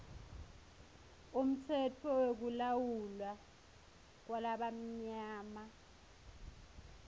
umtsetfo wekulawulwa kwalabamnyama